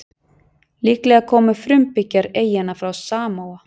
Líklega komu frumbyggjar eyjanna frá Samóa.